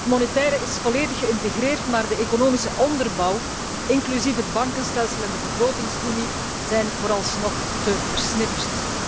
Het monetaire is volledig geïntegreerd, maar de economische onderbouw, inclusief het bankenstelsel en de begrotingsunie, zijn vooralsnog te versnipperd.